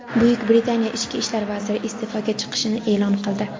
Buyuk Britaniya ichki ishlar vaziri iste’foga chiqishini e’lon qildi.